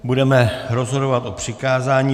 Budeme rozhodovat o přikázání.